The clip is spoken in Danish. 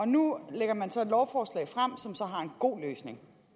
nu lægger man så et lovforslag frem som så har en god løsning